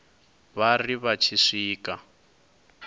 vha ri vha tshi swika